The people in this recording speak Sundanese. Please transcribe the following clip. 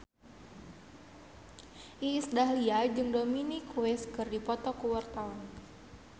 Iis Dahlia jeung Dominic West keur dipoto ku wartawan